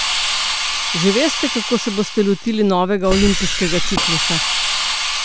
Že veste, kako se boste lotili novega olimpijskega ciklusa?